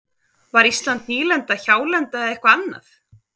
Var Ísland nýlenda, hjálenda eða eitthvað annað?